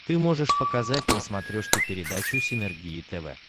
ты можешь показать на смотрешке передачу синергия тв